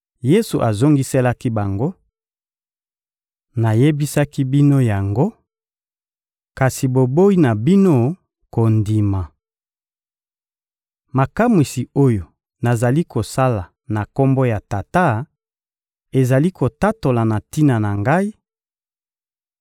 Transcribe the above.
Yesu azongiselaki bango: — Nayebisaki bino yango, kasi boboyi na bino kondima. Makamwisi oyo nazali kosala na Kombo ya Tata ezali kotatola na tina na Ngai;